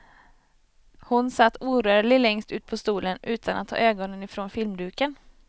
Hon satt orörlig längst ut på stolen utan at ta ögonen ifrån filmduken.